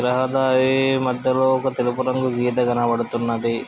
రహదారీ మధ్యలో ఒక తెలుపు రంగు గీత కనపడుతున్నది.